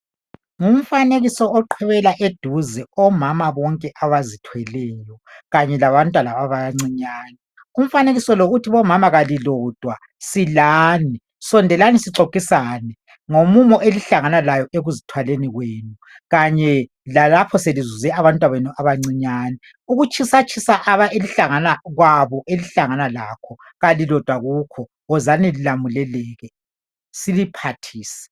Ngumfanekiso oqhwebela eduze omama bonke abazithweleyo kanye labantwana abancinyane .Umfanekiso lo uthi bomama kalilodwa silani .Sondelani sixoxisane ngomumo elihlangana lawo ekuzithwaleni kwenu .Kanye lalapho selizuze abantwabenu abancinyane .Ukutshisatshisa kwabo elihlangana lakho kalilodwa kukhona .Wozani lilamuleleke siliphathise .